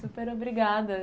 Super obrigada.